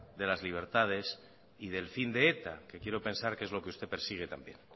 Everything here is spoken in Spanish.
de las libertades y del fin de eta que quiero pensar que es lo que usted persigue también